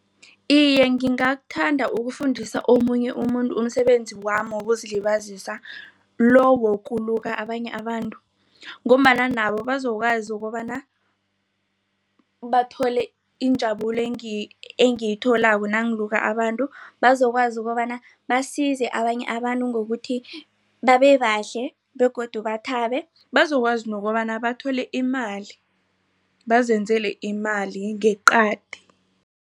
Iye, ngingakuthanda ukufundisa omunye umuntu umsebenzi wami wokuzilibazisa lo wokuluka abanye abantu. Ngombana nabo bazokwazi ukobana bathole injabulo engiyitholako nangiluka abantu bazokwazi ukobana basize abanye abantu ngokuthi babebahle begodu bathabe bazokwazi nokobana bathole imali bazenzele imali ngeqadi.